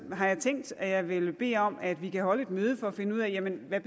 har jeg tænkt at jeg vil bede om at vi kan holde et møde for at finde ud af hvad